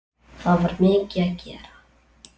Það var mikið að gera.